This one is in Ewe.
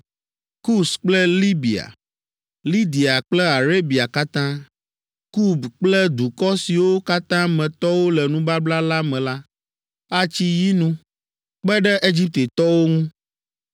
Kus kple Libia, Lidia kple Arabia katã, Kub kple dukɔ siwo katã me tɔwo le nubabla la me la, atsi yinu kpe ɖe Egiptetɔwo ŋu.’